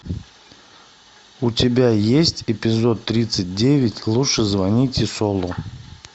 у тебя есть эпизод тридцать девять лучше звоните солу